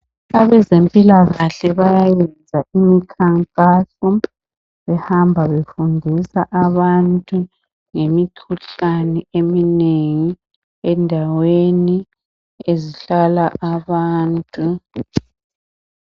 Abezempilakahle bayayenza imikhankaso behamba befundisa abantu ngemikhuhlane eminengi endaweni ezihlala abantu.